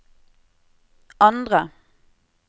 andre